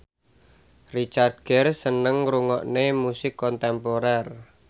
Richard Gere seneng ngrungokne musik kontemporer